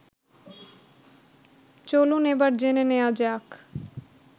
চলুন এবার জেনে নেয়া যাক